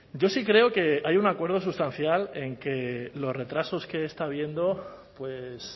yo sí creo que hay un acuerdo sustancial en que los retrasos que está habiendo pues